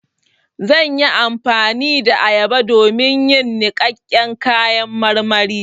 Zan yi amfani da ayaba don yin niƙaƙƙen kayan marmari